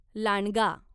लांडगा